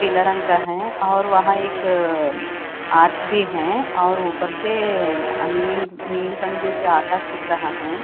पीला रंग का है और वहां एक अअ आर्च भी है और ऊपर सेएए अनिल नील रंग जैसे आकाश दिख रहा हैं।